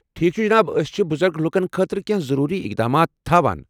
ٹھیک چھ جناب۔ أسۍ چھ بُزرگ لوٗکن خٲطرٕ کیٚنٛہہ ضٔروٗری اقدامات تھاوان۔